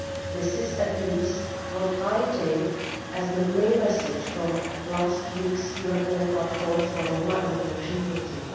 This is, at least, what I take as the main message from last week's European Platform for Roma Inclusion meeting.